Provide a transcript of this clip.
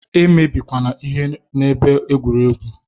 E mebikwana ihe n'ebe egwuregwu!